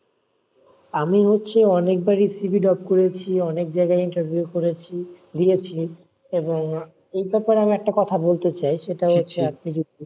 আমি হচ্ছে অনেকবারই CV drop করেছি অনেক জায়গা interview করেছি, দিয়েছি এই ব্যাপারে আমি একটা কথা বলতে চাই সেটা হচ্ছে আপনি যদি,